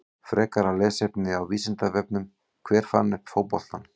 Frekara lesefni á Vísindavefnum: Hver fann upp fótboltann?